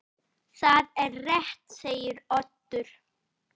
Það er rétt segir Oddur.